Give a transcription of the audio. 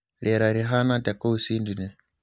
rĩera rĩhana atĩa kuu Sydney